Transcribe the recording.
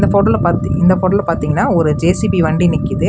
போட்டோல பத்தி இந்த போட்டோல பாத்திங்கன்னா ஒரு ஜே_சி_பி வண்டி நிக்கிது.